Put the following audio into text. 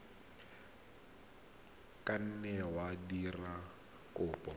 ka nna wa dira kopo